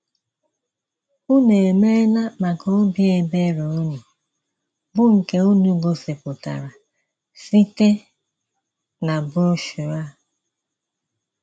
Unu emeela maka obi ebere unu, bụ́ nke unu gosipụtara site na broshuọ a. ”